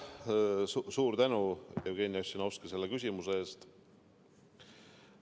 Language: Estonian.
Suur tänu, Jevgeni Ossinovski, selle küsimuse eest!